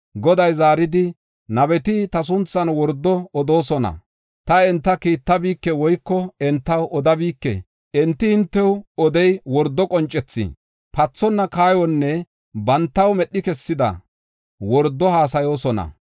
Goday zaaridi, “Nabeti ta sunthan wordo odoosona; ta enta kiittabike woyko entaw odabike. Enti hintew odey wordo qoncethi, pathonna kaayonne bantaw medhi kessida wordo haasayoosona.